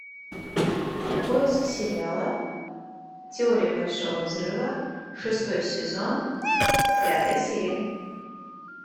поиск сериала теория большого взрыва шестой сезон пятая серия